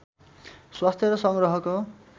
स्वास्थ्य र सङ्ग्रहको